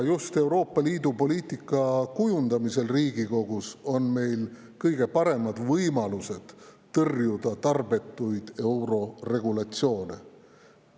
Just Euroopa Liidu poliitika kujundamisel Riigikogus on meil kõige paremad võimalused tõrjuda tarbetuid euroregulatsioone.